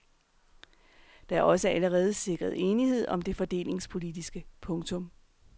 Der er også allerede sikret enighed om det fordelingspolitiske. punktum